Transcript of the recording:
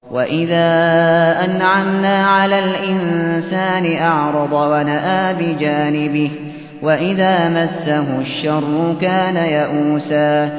وَإِذَا أَنْعَمْنَا عَلَى الْإِنسَانِ أَعْرَضَ وَنَأَىٰ بِجَانِبِهِ ۖ وَإِذَا مَسَّهُ الشَّرُّ كَانَ يَئُوسًا